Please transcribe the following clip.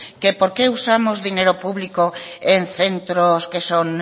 que por qué usamos dinero público en centros que son